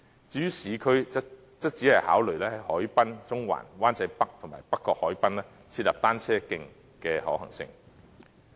至於市區，則只會考慮在海濱、中環、灣仔北及北角海濱設立單車徑的可行性。